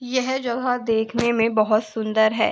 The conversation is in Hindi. यह जगह देखने में बहोत सुंदर है।